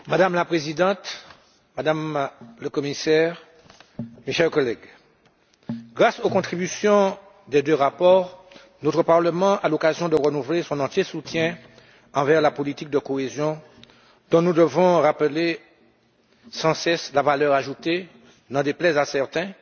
Madame la Présidente, Madame la Commissaire, mes chers collègues, grâce aux contributions des deux rapports, notre Parlement a l'occasion de renouveler son soutien entier envers la politique de cohésion dont nous devons rappeler sans cesse la valeur ajoutée, n'en déplaise à certains,